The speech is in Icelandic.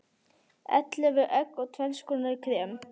Ellefu egg og tvenns konar krem.